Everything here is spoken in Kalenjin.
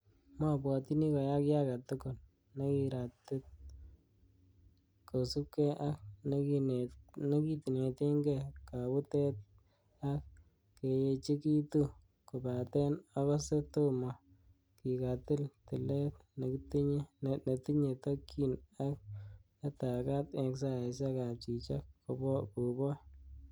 Mobwotyini koyaa kiy agetugul nekiratit, kosiibge ak nekinetenge kabutet ak keyechekituu, kobaten ogose tome kikatil tilet netinye tokyin ak netegat en saisiek ab chichok, kobooch.